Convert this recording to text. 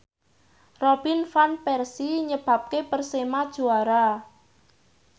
Robin Van Persie nyebabke Persema juara